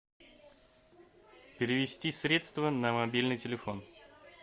перевести средства на мобильный телефон